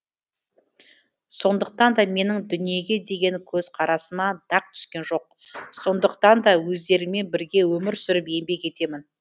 сондықтан да менің дүниеге деген көзқарасыма дақ түскен жоқ сондықтан да өздеріңмен бірге өмір сүріп еңбек етемін